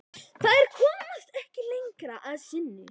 Þær komast ekki lengra að sinni.